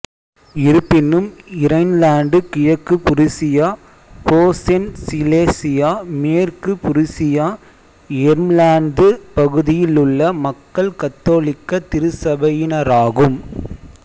இருப்பினும் இரைன்லாந்து கிழக்கு Prussia Posen Silesia மேற்கு புருசியா எர்ம்லாந்து பகுதியிலுள்ள மக்கள் கத்தோலிக்க திருச்சபையினராகும்